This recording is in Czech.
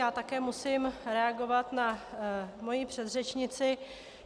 Já také musím reagovat na svoji předřečnici.